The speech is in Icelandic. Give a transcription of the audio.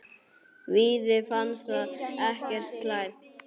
Víði fannst það ekkert slæmt.